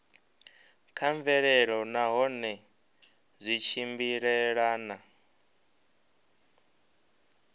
kha mvelelo nahone zwi tshimbilelana